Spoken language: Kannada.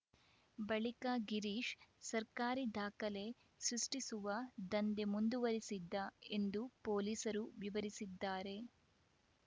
ಬಳಿಕ ಗಿರೀಶ್‌ ಸರ್ಕಾರಿ ದಾಖಲೆ ಸೃಷ್ಟಿಸುವ ದಂಧೆ ಮುಂದುವರೆಸಿದ್ದ ಎಂದು ಪೊಲೀಸರು ವಿವರಿಸಿದ್ದಾರೆ